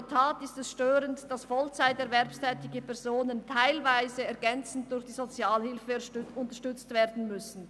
«In der Tat ist es störend, dass Vollzeit erwerbsstätige Personen teilweise ergänzend durch die Sozialhilfe unterstützt werden müssen.